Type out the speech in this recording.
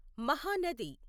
Mahanadi